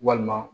Walima